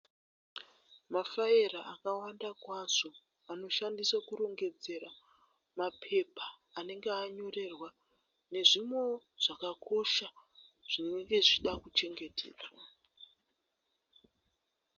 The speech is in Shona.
Mafaira akawanda kwazvo anoshandiswa kurongedzera mapepa anenge anyorerwa nezvimwewo zvakakosha zvinenge zvichida kuchengetedzwa.